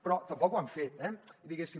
però tampoc ho han fet diguéssim